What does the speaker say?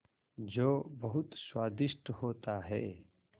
जो बहुत स्वादिष्ट होता है